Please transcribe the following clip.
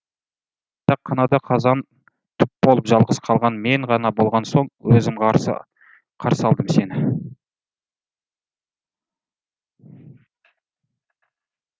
жатақханада қазан түп болып жалғыз қалған мен ғана болған соң өзім қарсы қарсы алдым сені